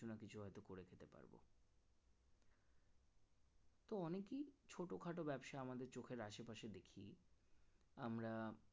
তো অনেকেই ছোটখাটো ব্যবসা আমাদের চোখের আশেপাশে দেখি আমরা